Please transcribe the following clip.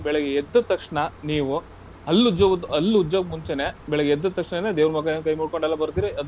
ಬೆಳಗ್ಗೆ ಎದ್ದ ತಕ್ಷಣ ನೀವು ಹಲ್ಲುಜ್ಜೋ ಒಂದು ಹಲ್ಲುಜ್ಜೋಕ್ ಮುಂಚೆನೆ ಬೆಳಗ್ಗೆ ಎದ್ದ ತಕ್ಷಣನೆ ದೇವ್ರಗೆ ಒಂದ್ ಕೈ ಮುಕ್ಕೊಂಡು ಎಲ್ಲಾ ಬರ್ತೀರಿ.